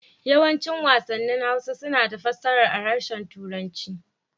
Yawancin wasannin Hausa suna da fassarar a harshen Turanci.